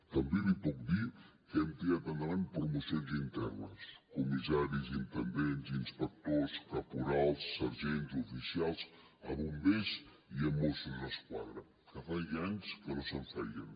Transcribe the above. també li puc dir que hem tirat endavant promocions internes comissaris intendents inspectors caporals sergents oficials a bombers i mossos d’esquadra que feia anys que no se’n feien